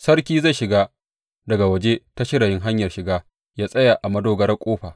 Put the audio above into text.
Sarki zai shiga daga waje ta shirayin hanyar shiga yă tsaya a madogarar ƙofa.